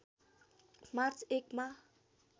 March १ मा